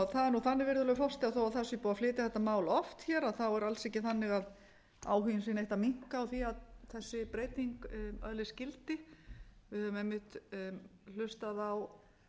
það er nú þannig virðulegur forseti að þó það sé búið að flytja þetta mál oft hér er alls ekki þannig að áhuginn sé nokkuð að minnka á því að þessi breyting öðlist gildi við höfum einmitt hlustað á